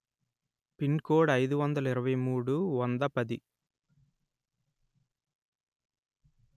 pin code అయిదు వందలు ఇరవై మూడు వంద పది